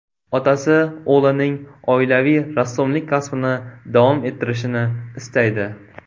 Otasi o‘g‘lining oilaviy rassomlik kasbini davom ettirishini istaydi.